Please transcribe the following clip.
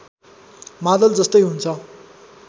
मादल जस्तै हुन्छ